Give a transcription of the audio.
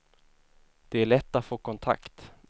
Det är lätt att få kontakt.